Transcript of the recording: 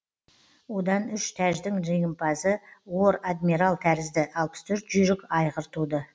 одан үш тәждің жеңімпазы уор адмирал тәрізді алпыс төрт жүйрік айғыр туды